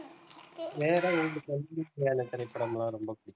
திரைப்படம் எல்லாம் ரொம்ப புடிக்கும்